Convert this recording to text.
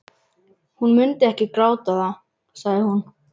Hún mundi ekki gráta það, sagði hún.